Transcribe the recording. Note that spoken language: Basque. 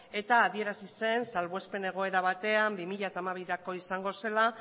eta adierazi zen salbuespen egoera batean bi mila hamabirako izango zela